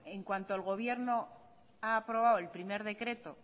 en cuanto el gobierno ha aprobado el primero decreto